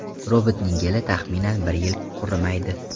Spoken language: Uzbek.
Robotning geli, taxminan, bir yil qurimaydi.